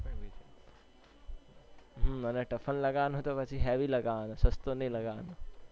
હમ અને typhoon લગાવાનો તો પછી heavy લગાવાનો સસ્તો નહી લગાવાનો